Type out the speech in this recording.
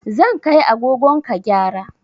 Zan kai agogon ka gyara